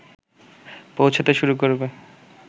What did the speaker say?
পৌঁছতে শুরু করবে